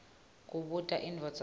kubuta indvodza yakhe